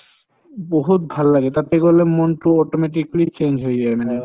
বহুত ভাল লাগে তাতে গলে মনতো automatically change হৈ যায় মানে